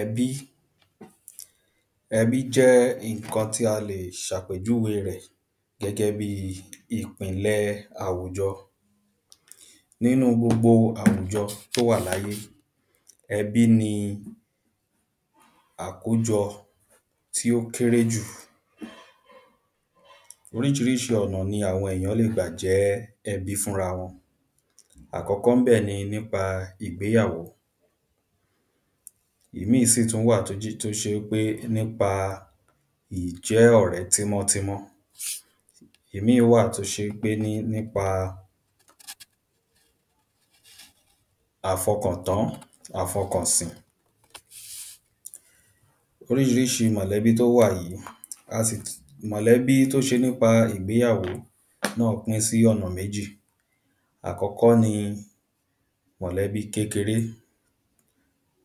ẹbí. ẹbí jẹ́ ǹkan tí a lè ṣàpèjúwe rẹ̀ gẹ́gẹ́ bíi ìpinlẹ̀ṣẹ àwùjọ. nínúu gbogbo àwùjọ tówà láyé, ẹbí ni àkójọ tí ó kérè jù. oríṣiríṣi ọ̀nà ni àwọn èyán lè gbà jẹ́ ẹbí fún rawọn. àkọ́kọ́ ńbẹ̀ ni nípa ìgbéyàwó. ìmíì sì tún wà níbẹ̀ tó ṣe ípé nípa ìjẹ́ ọ̀rẹ́ tímọ́tímọ́. ìmíì wà tó ṣe ípé ní nípa àfọkàntán, àfọkànsìn. oríṣiríṣi mọ̀lẹ́bí tó wà yí, a sì, mọ̀lẹ́bí tó ṣe nípa ìgbéyàwó náà pín sí ọ̀nà méjì; àkọ́kọ́ ní mọ̀lẹ́bí kékeré,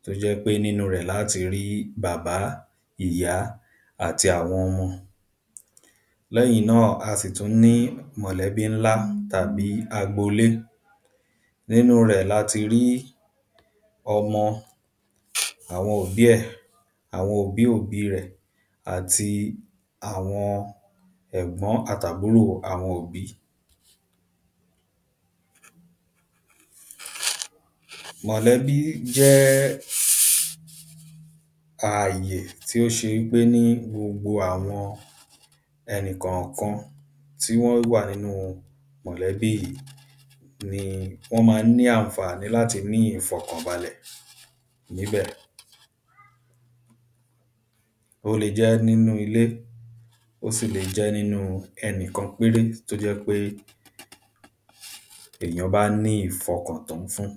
tó jẹ́ pé nínúu rẹ̀ laáti rí bàbá, ìyá, àti àwọn ọmọ. léyìn náà, a sì tún ní mọ̀lẹ́bí ńlá, tàbí agboolé, nínúu rẹ̀ lati rí ọmọ, àwọn òbí ẹ̀, àwọn òbí òbí rẹ̀, àti àwọn ẹ̀gbọ́n, àtàbúrò àwọn òbí. mọ̀lẹ́bí jẹ́ẹ́, àyè tí ó ṣeé gbé ní gbogbo àwọn ẹnìkànkan tí wọ́n wà nínu mọ̀lẹ́bí ìyí, ni wọ́n ma ń ní ànfàní láti ní ìfọ̀kàn balẹ̀ níbẹ̀. ó le jẹ́ nínú ilé, ó le jẹ́ nínúu ẹnìkan péré tó jẹ́ pé èyán bá ní ìfọkàntán fún.